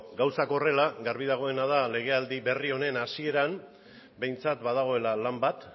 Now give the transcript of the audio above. gauzak horrela garbi dagoena da legealdi berri honen hasieran behintzat badagoela lan bat